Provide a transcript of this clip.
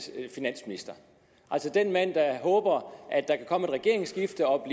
finansminister altså den mand der håber at der kan komme et regeringsskifte og at